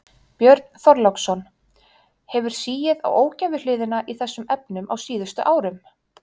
Björn Þorláksson: Hefur sigið á ógæfuhliðina í þessum efnum á síðustu árum?